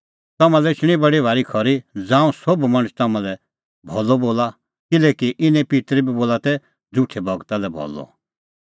तम्हां लै एछणी बडी भारी खरी ज़ांऊं सोभ मणछ तम्हां लै भलअ बोला किल्हैकि इने पित्तर बी बोला तै झ़ुठै गूरा लै भलअ